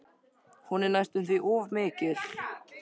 Hún er næstum því of mikil.